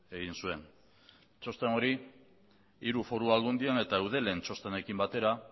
egin zuen txosten hori hiru foru aldundietan eta eudelen txostenekin batera